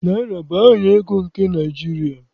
Naịra bụ aha ego nke Naịjirịa